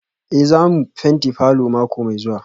Eh za mu fenti falor mako mai zuwa